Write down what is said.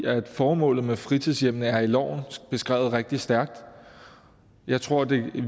formålet med fritidshjemmene er i loven beskrevet rigtig stærkt jeg tror